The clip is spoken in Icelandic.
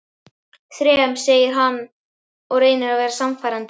Þrem, segir hann og reynir að vera sannfærandi.